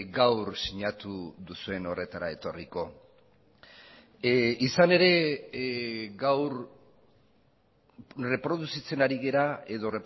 gaur sinatu duzuen horretara etorriko izan ere gaur erreproduzitzen ari gara edo